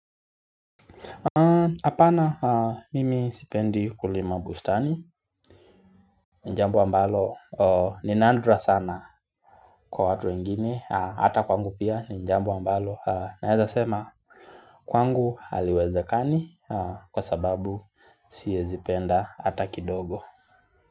Hapana mimi sipendi kulima bustani jambo ambalo ni nandra sana kwa watu wengini. Hata kwangu pia ni jambo ambalo Naezasema kwangu haliwezekani Kwa sababu siezipenda hata kidogo.